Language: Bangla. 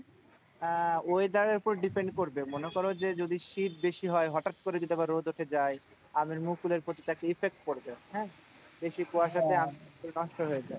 আহ weather এর ওপর depend করবে মনে করো যে যদি শীত বেশি হয় হটাৎ করে যদি আবার রোদ উঠে যায় আমের মুকুলের প্রতি একটা effect পড়বে হ্যাঁ, বেশি কুয়াশাতে আমের মুকুল নষ্ট হয়ে যায়।